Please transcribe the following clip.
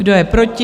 Kdo je proti?